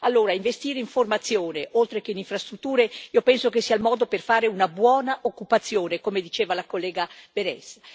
Allora, investire nella formazione, oltre che nelle infrastrutture, io penso sia il modo per garantire una buona occupazione, come diceva la collega Berès.